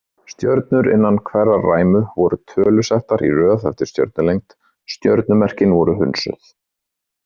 Stjörnur innan hverrar ræmu voru tölusettar í röð eftir stjörnulengd, stjörnumerkin voru hunsuð.